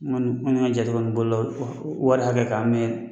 N kɔni n kɔni ka jate kɔni bolo wari hakɛ kan n mɛɛn